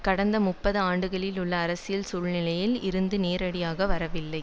கடந்த முப்பது ஆண்டுகளில் உள்ள அரசியல் சூழ்நிலையில் இருந்து நேரடியாக வரவில்லை